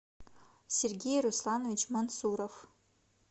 сергей русланович мансуров